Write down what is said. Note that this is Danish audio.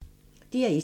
DR1